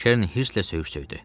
Kern hısslə söyüş söydü.